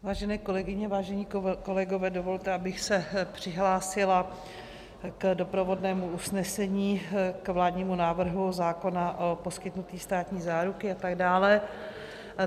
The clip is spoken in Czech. Vážené kolegyně, vážení kolegové, dovolte, abych se přihlásila k doprovodnému usnesení k vládnímu návrhu zákona o poskytnutí státní záruky atd.